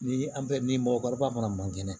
Ni an bɛ ni mɔgɔkɔrɔba fana man kɛnɛ